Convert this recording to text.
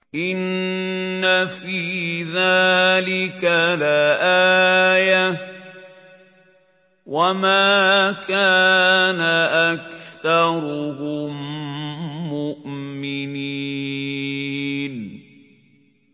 إِنَّ فِي ذَٰلِكَ لَآيَةً ۖ وَمَا كَانَ أَكْثَرُهُم مُّؤْمِنِينَ